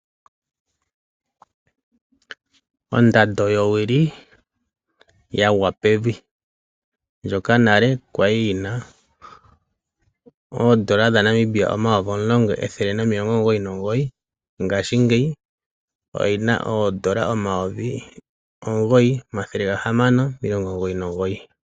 Ondando yowili yagwa pevi. Ndjoka nale kwali yi na oondola dhaNamibia 10 199 ngaashingeyi oyina oondola 9 699.